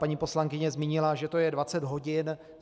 Paní poslankyně zmínila, že to je 20 hodin.